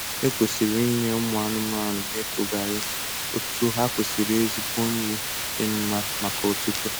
E kwesịrị inye ụmụ anụmanụ na-etogaghị otu ha kwesịrị ezigbo nri dị mma maka otuto